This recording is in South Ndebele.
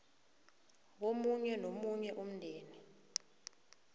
komunye nomunye umndeni